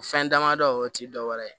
Fɛn damadɔ o ti dɔwɛrɛ ye